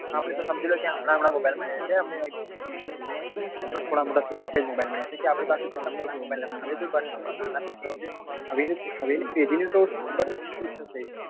આપડે તો સમજી લો કે હમણાં હમણાં mobile મળ્યા છે હમણાં થોડા મોટા થયા એટલે જ mobile મળ્યા છે કેમ કે આપડી પાસે એટલા પેલા mobile નતા હવે તો નાનપણ માં જ નાના છોકરાઓ છે હવે ની હવે ની પેઢી નું તો ખબર નઈ શું થશે